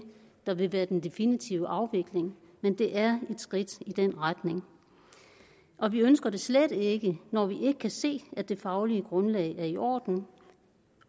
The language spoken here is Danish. der vil være den definitive afvikling men det er et skridt i den retning og vi ønsker det slet ikke når vi ikke kan se at det faglige grundlag er i orden